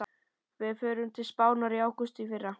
Við fórum til Spánar í ágúst í fyrra.